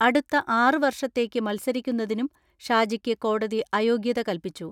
അടുത്ത ആറ് വർഷത്തേക്ക് മത്സരിക്കുന്നതിനും ഷാജിക്ക് കോടതി അയോഗ്യത കൽപ്പിച്ചു.